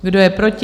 Kdo je proti?